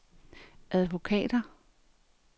advokater